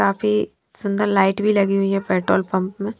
काफ़ी सुंदर लाइट भी लगी हुई है पेट्रोल पंप में --